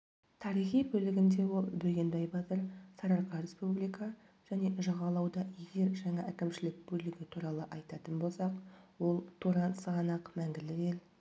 тарихи бөлігінде ол бөгенбай батыр сарыарқы республика және жағалауда егер жаңа әкімшілік бөлігі туралы айтатын болсақ ол туран сығанақ мәңгілік ел